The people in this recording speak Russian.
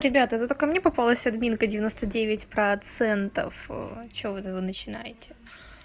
ребята зато ко мне попалась админка девяносто девять процентов что вы начинаете